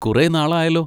കുറെ നാൾ ആയല്ലോ.